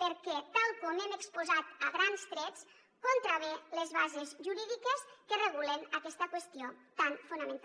perquè tal com hem exposat a grans trets contravé les bases jurídiques que regulen aquesta qüestió tan fonamental